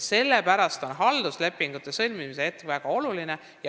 Sellepärast ongi halduslepingute sõlmimise hetk väga oluline.